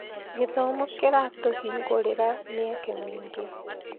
Gĩthomo kĩratũhingũrĩra mĩeke mĩingĩ.